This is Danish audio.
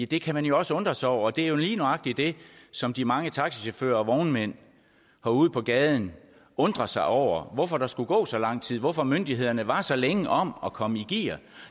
det kan man jo også undre sig over og det er lige nøjagtig det som de mange taxichauffører og vognmænd herude på gaden undrer sig over nemlig hvorfor der skulle gå så lang tid hvorfor myndighederne var så længe om at komme i gear